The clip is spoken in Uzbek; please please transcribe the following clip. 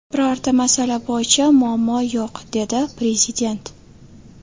Birorta masala bo‘yicha muammo yo‘q”, dedi Prezident.